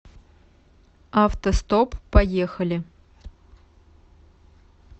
автостоп поехали